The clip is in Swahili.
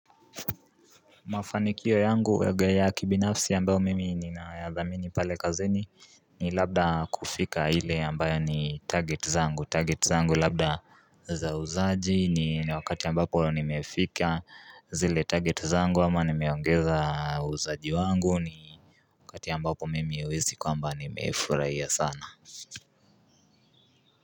Mafanikio yangu waga ya kibinafsi ambayo mimi ninayadhamini pale kazeni ni labda kufika hile ambayo ni target zangu target zangu labda za uzaji ni wakati ambapo nimefika zile target zangu ama nimeongeza uzaji wangu ni wakati ambapo mimi uwezi kwamba nimefurahia sana.